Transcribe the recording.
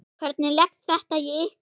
Hvernig leggst þetta í ykkur?